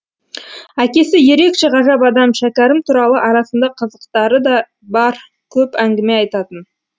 әкесі ерекше ғажап адам шәкәрім туралы арасында қызықтары да бар көп әңгіме айтатын